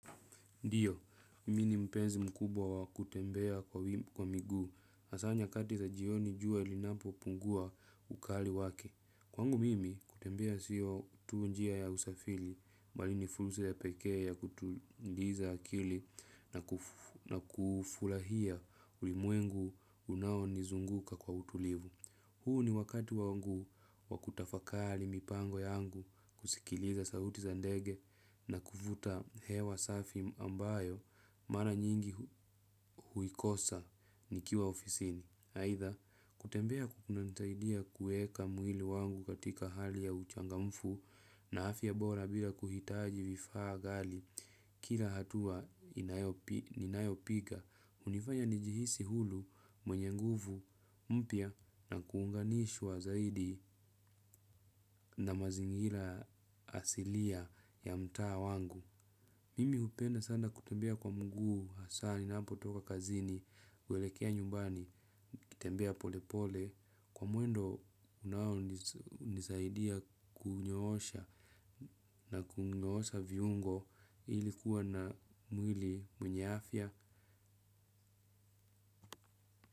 Ndiyo, mimi ni mpenzi mkubwa wa kutembea kwa miguu, hasaa nyakati za jioni jua linapopungua ukali wake. Kwangu mimi, kutembea siyo tu njia ya usafiri, bali ni fursa ya pekee ya kutuliza akili na kufurahia ulimwengu unaonizunguka kwa utulivu. Huu ni wakati wangu wa kutafakari mipango yangu, kusikiliza sauti za ndege na kuvuta hewa safi ambayo mara nyingi huikosa nikiwa ofisini. Aidha, kutembea kunanisaidia kuweka mwili wangu katika hali ya uchangamfu na afya bora bila kuhitaji vifaa ghali. Kila hatua ninayopiga, hunifanya nijihisi huru mwenye nguvu mpya na kuunganishwa zaidi na mazingira asilia ya mtaa wangu. Mimi hupenda sana kutembea kwa mguu hasaa ninapotoka kazini, huelekea nyumbani, nikitembea polepole, kwa mwendo unaonisaidia kunyoosha na kunyoosha viungo ili kuwa na mwili mwenye afya.